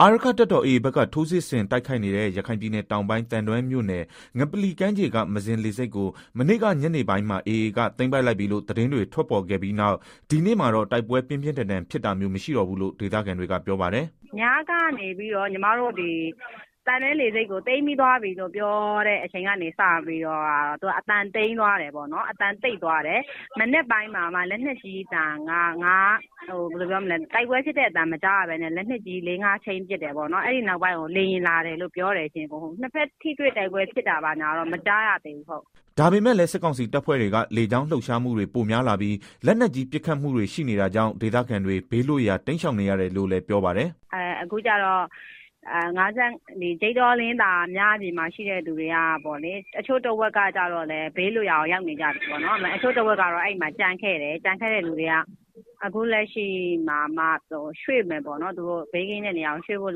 အာရက္ခတပ်တော် AA ဘက်က ထိုးစစ်ဆင်တိုက်ခိုက်နေတဲ့ ရခိုင်ပြည်နယ်တောင်ပိုင်း သံတွဲမြို့ နယ် ငပလီကမ်းခြေက မဇင်လေဆိပ်ကို မနေ့ကညနေပိုင်းက AA ဘက်က သိမ်းလိုက်ပြီလို့ သတင်းတွေ ထွက်ပေါ်ခဲ့ပြီးနောက် ဒီနေ့မှာတော့ တိုက်ပွဲ ပြင်းပြင်းထန်ထန် ဖြစ်တာမျိုး မရှိတော့ဘူးလို့ ဒေသခံတွေက ပြောပါတယ်။ “ ညကနေပြီးတော့ သံတွဲလေဆိပ်ကို သိမ်းပြီးပြီလို့ ပြောကတည်းက အသံကတော့ တိတ်သွားတယ်၊ ဒီမနက်မှာလည်း တိုက်ပွဲဖြစ်တဲ့ အသံမကြားရဘူး။ လက်နက်ကြီးသံတော့ ၅ချက် လောက် ပစ်တယ် အဲဒီနောက်ပိုင်းကို လေယာဉ်လာတယ်လို့ပြောတယ်၊ နှစ်ဖက်ထိတွေ့တိုက် ပွဲဖြစ်တာတော့ မကြားရသေးဘူးဟုတ်။” ဒါပေမဲ့လည်း စစ်ကောင်စီတပ်ဖွဲ့တွေက လေကြောင်းလှုပ်ရှားမှုတွေ ပိုများလာပြီး၊ လက်နက်ကြီး ပစ်ခတ်မှုတွေ ရှိနေတာကြောင့် ဒေသခံတွေ ဘေးလွတ်ရာ တိမ်းရှောင်နေရတယ်လို့လည်း ပြောပါတယ်။ “ အခုကတော့ ဂျိတ်တော၊ လင်းသာ အဲဒီမှာ ရှိတဲ့သူတွေထဲက တချို့တဝက်ကတော့ ဘေးလွတ်ရာကို ရောက်နေကြပြီ၊ တချို့ကတော့ အဲဒီမှာ ကျန်ခဲ့တယ်။ ကျန်ခဲ့တဲ့ သူတွေက အခုလက်ရှိမှာမှ ဘေးကင်းမဲ့နေရာကိုရွှေ့ဖို့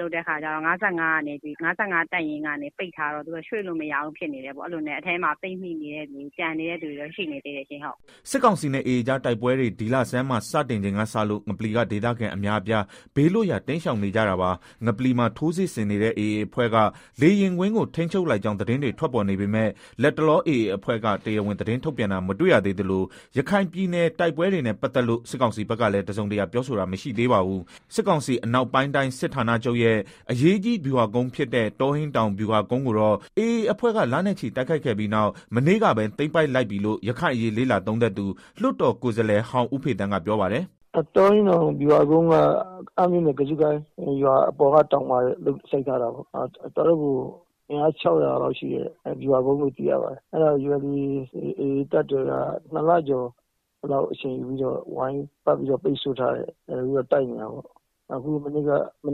လုပ်နေကြတဲ့ အခါကျတော့ ၅၅တပ်ရင်းကနေ ပိတ်ထားတော့ သူတို့က ရွှေ့လို့မရဘူး၊ ဒီလိုနဲ့ အထဲမှာ ပိတ်မိနေတဲ့သူ ကျန်နေတဲ့သူတွေ ရှိနေသေးတယ်။” စစ်ကောင်စီနဲ့ AAကြား တိုက်ပွဲတွေ ဒီလဆန်းမှာ တိုက်ပွဲတွေ စတင်ချိန်ကစလို့ ငပလီက ဒေသခံအများအပြား ဘေးလွတ်ရာ တိမ်းရှောင်နေကြတာပါ။ ငပလီမှာ ထိုးစစ်ဆင်နေတဲ့ AA အဖွဲ့က လေယာဉ်ကွင်းကို ထိန်းချုပ်လိုက်ကြောင်း သတင်းတွေ ထွက်ပေါ်နေပေမဲ့ လတ်တလော AA အဖွဲ့က တရားဝင် သတင်းထုတ်ပြန်တာ မတွေ့ရသေးသလို ရခိုင်ပည်နယ်က တိုက်ပွဲတွေနဲ့ ပတ်သက်လို့ စစ်ကောင်စီဖက်ကလည်း တစုံတရာ ပြောဆိုတာ မရှိသေးပါဘူး။ စစ်ကောင်စီအနောက်ပိုင်တိုင်းစစ်ဌာနာချုပ်ရဲ့ အရေးကြီးဗျူဟာကုန်းဖြစ်တဲ့ တောဟိန်းတောင်ဗျူဟာကုန်းကိုတော့ AA အဖွဲ့က လနဲ့ချီတိုက်ခိုက်ခဲ့ပြီးနောက် မနေ့ကပဲ သိမ်းပိုက်လိုက်ပြီလို့ ရခိုင်အရေးလေ့လာသုံးသပ်သူ လွတ်တော်ကိုယ်စားလှယ်ဟောင်း ဦးဖေသန်းကပြောပါတယ်။ “တောဟိန်းတောင် ဗျူဟာကုန်းက အမ်းမြို့နယ် ကဇုကိုင်းရွာအထက်မှာရှိတာပေါ့ တော်တော့ကို အင်းအား ၆ဝဝလောက်ရှိတဲ့ ဗျူဟာကုန်းပေါ့၊ အဲတာကို AAတပ်တော်က ၂လကျော်လောက် အချိန်ယူပြီးတော့ ဝိုင်းပတ်ပြီးတော့ ပိတ်ဆို့တိုက်ခိုက်နေတာ မ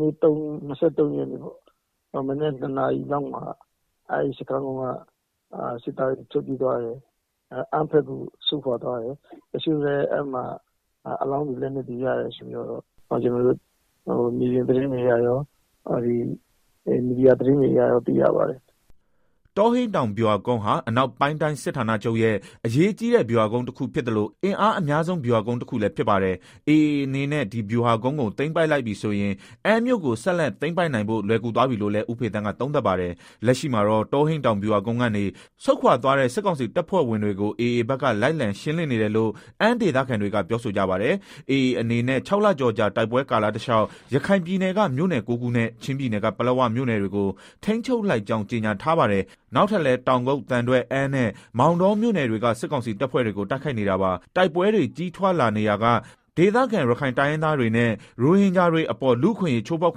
နေ့က မနက် ၂နာရီလောက်မှာ အဲဒီစခန်းက စစ်သားတွေ ထွက်ပြေးသွားတယ်၊ အမ်းဘက်ကို ဆုတ်ခွာသွားတယ်၊အဲမှာ အလောင်းတွေ လက်နက်တွေ ရတယ်ဆိုပြီး ကျနော်တို့ မြေပြင်သတင်းတွေအရရော မီဒီယာသတင်းတွေအရ သိရပါတယ်။” တောဟိန်းတောင် ဗျူဟာကုန်းက အနောက်ပိုင်းတိုင်းစစ်ဌာနချုပ်ရဲ့ အကြီးဗျူဟာကုန်း တခုဖြစ်သ လို အင်အားအများဆုံးဗျူဟာကုန်းတခုလည်းဖြစ်ပါတယ်။ AAအနေနဲ့ ဒီဗျူဟာကုန်းကို သိမ်းလိုက်ပြီဆိုရင် အမ်းမြို့ကို ဆက်လက်သိမ်းပိုက်နိုင်ဖို့ လွယ်ကူ သွားပြီးလို့လည်း ဦးဖေသန်းကသုံးသပ်ပါတယ်။ လက်ရှိမှာတော့ တောဟိန်းဗျူဟာကုန်းကနေ ဆုတ်ခွာသွားတဲ့ စစ်ကောင်စီတပ်ဖွဲ့ဝင်တွေ AA ဘက်က လိုက်လံရှင်းနေတယ် လို့အမ်း ဒေသခံတွေက ပြောဆိုကြပါတယ်။ AA အနေနဲ့ ၆လကျော်ကြာ တိုက်ပွဲကာလတလျောက် ရခိုင်ပြည်နယ်က မြို့နယ် ၉ခုနဲ့ ချင်းပြည်နယ်က ပလက်ဝမြို့နယ်တွေကို ထိန်းချုပ်လိုက်ကြောင်း ကြေညာထားပါတယ်။ နောက်ထပ်လည်း တောင်ကုတ်၊ သံတွဲ၊ အမ်းနဲ့ မောင်တောမြို့ နယ်တွေက စစ်ကောင်စီတပ်ဖွဲ့တွေကို တိုက်ခိုက်နေတာပါ။ တိုက်ပွဲတွေ ကြီးထွားလာနေရာက ဒေသခံ ရခိုင်တိုင်းရင်းသားတွေနဲ့ ရိုဟင်ဂျာတွေအပေါ် လူ့အခွင့်အရေး ချိုးဖောက်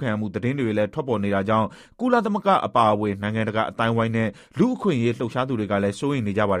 ခံရမှု သတင်းတွေလည်း ထွက်ပေါ်နေတာကြောင့် ကုလသမဂ္ဂ အပါအဝင် နိုင်ငံတကာ အသိုင်းအဝိုင်းနဲ့ လူ့အခွင့်အရေး လှုပ်ရှားသူတွေကလည်း စိုးရိမ်နေကြပါတယ်